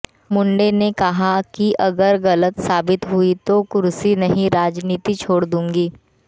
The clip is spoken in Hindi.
मुंडे ने कहा कि अगर गलत साबित हुई तो कुर्सी नहीं राजनीति छोड़ दूंगी